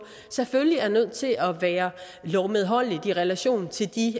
selvfølgelig er nødt til at være lovmedholdelig i relation til de